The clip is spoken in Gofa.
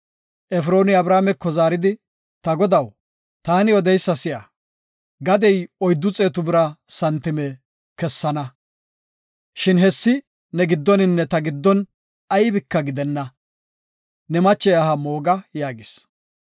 Efrooni Abrahaameko zaaridi, “Ta godaw, taani odeysa si7a; gadey oyddu xeetu bira santime kessana; shin hessi ne giddoninne ta giddon aybika gidenna; ne mache aha mooga” yaagis.